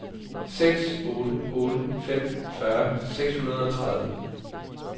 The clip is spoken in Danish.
seks otte otte fem fyrre seks hundrede og tredive